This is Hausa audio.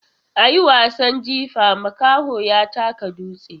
A yi wasan jifa, makaho ya taka dutse.